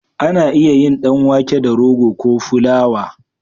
Ana iya yin dan wake da rogo ko fulawa